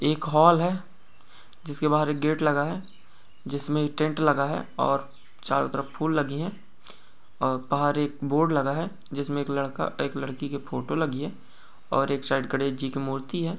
एक हाल है जिसके बाहर गेट लगा है जिसमें टेंट लगा है और चारों तरफ फूल लगी है और बाहर एक बोर्ड लगा है जिसमें एक लड़का एक लड़की के फोटो लगी है और एक साइड गणेश जी की मूर्ति है।